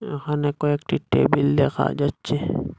এখানে কয়েকটি টেবিল দেখা যাচ্ছে।